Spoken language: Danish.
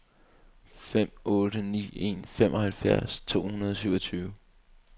fem otte ni en femoghalvfems to hundrede og syvogtyve